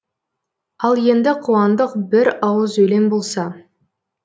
ал енді қуандық бір ауыз өлең болса